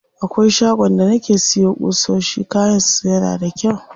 Akwai shagon da nake siya ƙusoshi, kayan su yana da kyau.